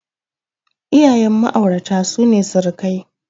Iyayen Ma'aurata sune surukai.